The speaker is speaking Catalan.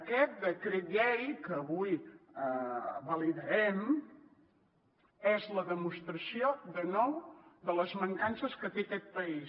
aquest decret llei que avui validarem és la demostració de nou de les mancances que té aquest país